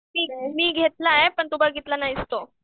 मी घेतलाय पण तू बघितला नाहीस तो.